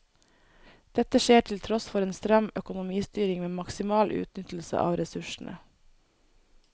Dette skjer til tross for en stram økonomistyring med maksimal utnyttelse av ressursene.